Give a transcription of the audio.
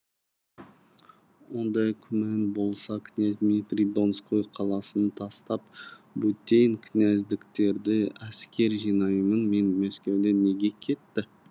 ондай күмән болса князь дмитрий донской қаласын тастап бөтен князьдіктерді әскер жинаймынмен мәскеуден неге кетті